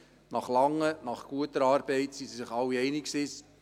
Nach langer, nach guter Arbeit waren sich alle einig: